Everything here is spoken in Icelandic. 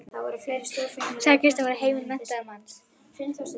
Unuhús, sagði Kristján, var heimili menntaðs manns.